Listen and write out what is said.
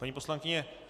Paní poslankyně.